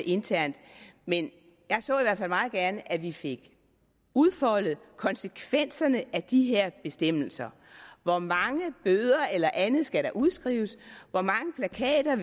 internt men jeg så i hvert fald meget gerne at vi fik udfoldet konsekvenserne af de her bestemmelser hvor mange bøder eller andet skal der udskrives hvor mange plakater